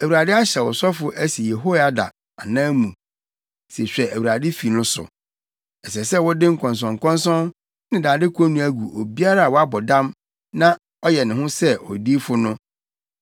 ‘ Awurade ahyɛ wo sɔfo asi Yehoiada anan mu se hwɛ Awurade fi no so; Ɛsɛ sɛ wode nkɔnsɔnkɔnsɔn ne dade konnua gu obiara a wabɔ dam na ɔyɛ ne ho sɛ odiyifo no.